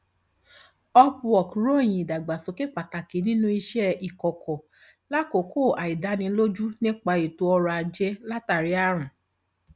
upwork ròyìn ìdàgbàsókè pàtàkì nínú iṣẹ ìkọkọ lákòókò àìdánilójú nípa ètò ọrọ ajé látàrí àrùn